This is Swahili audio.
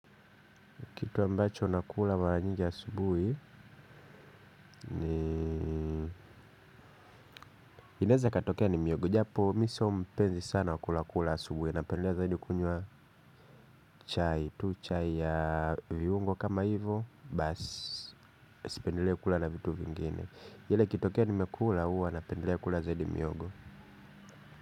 Kitu ambacho nakula mara nyingi asubuhi. Inaeza katokea ni miyogo. Japo mi sio mpenzi sana wa kula kula asubuhi. Napendelea zaidi kunywa chai tu chai ya viungo kama hivo. Baas. Sipendelei kula na vitu vingine ile ikitokea nimekula huwa napendelea kula zaidi mihogo.